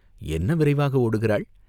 என்ன விரைவாக ஓடுகிறாள்?